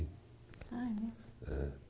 Ah, é mesmo? É